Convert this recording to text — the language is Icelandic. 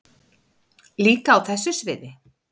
Líka á þessu sviði.